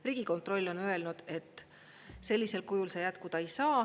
Riigikontroll on öelnud, et sellisel kujul see jätkuda ei saa.